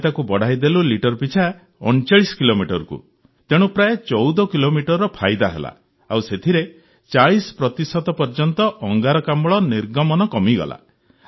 ଆମେ ତାକୁ ବଢ଼ାଇଦେଲୁ ଲିଟର ପିଛା ୩୯ କିଲୋମିଟରକୁ ତେଣୁ ପ୍ରାୟ ୧୪ କିଲୋମିଟରର ଫାଇଦା ହେଲା ଆଉ ସେଥିରେ ୪୦ ପ୍ରତିଶତ ପର୍ଯ୍ୟନ୍ତ ଅଙ୍ଗାରକାମ୍ଳ ନିର୍ଗମନ କମିଗଲା